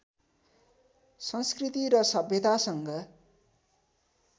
संस्कृति र सभ्यतासँग